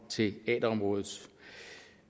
teaterområdet